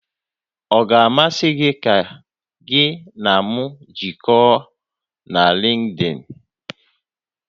Ọ ga-amasị gị ka gị na m jikọọ na Lịnkdịn?